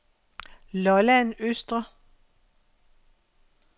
Lolland Østre